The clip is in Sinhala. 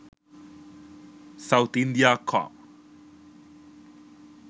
sauth india com